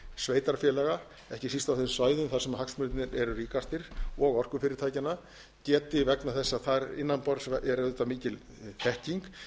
sveitarfélaga ekki síst á þeim svæðum þar sem hagsmunirnir eru ríkastir og orkufyrirtækjanna geti vegna þess að þar innanborðs er auðvitað mikil þekking geti